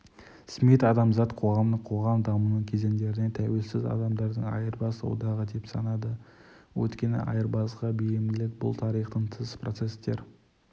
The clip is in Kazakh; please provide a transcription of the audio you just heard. смит адамзат қоғамын қоғам дамуының кезеңдерінде тәуелсіз адамдардың айырбас одағы деп санады өйткені айырбасқа бейімділік бұл тарихтан тыс процесстер